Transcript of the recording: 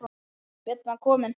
Björn var kominn.